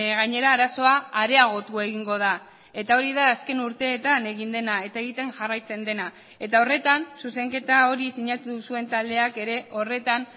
gainera arazoa areagotu egingo da eta hori da azken urteetan egin dena eta egiten jarraitzen dena eta horretan zuzenketa hori sinatu duzuen taldeak ere horretan